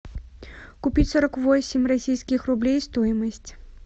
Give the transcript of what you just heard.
купить сорок восемь российских рублей стоимость